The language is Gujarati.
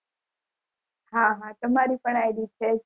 હા હા તમારી પણ id છે જ